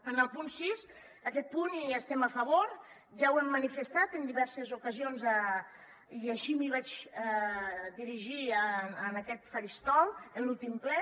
en el punt sis en aquest punt estem a favor ja ho hem manifestat en diverses ocasions i així em vaig dirigir en aquest faristol l’últim ple